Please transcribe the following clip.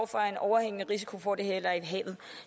for en overhængende risiko for at det ender i havet